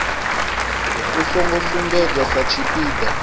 u songo sumbedzwa sa tshipiḓa